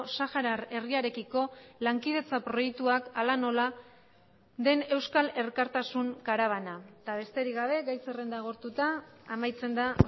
saharar herriarekiko lankidetza proiektuak hala nola den euskal elkartasun karabana eta besterik gabe gai zerrenda agortuta amaitzen da